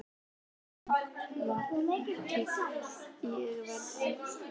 Þessa nótt var kalt í veðri, ákaflega kalt.